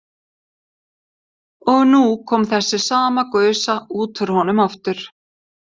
Og nú kom þessi sama gusa út úr honum aftur.